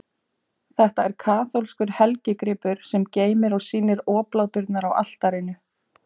Þetta er kaþólskur helgigripur, sem geymir og sýnir obláturnar á altarinu.